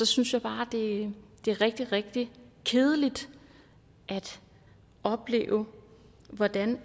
synes bare det er rigtig rigtig kedeligt at opleve hvordan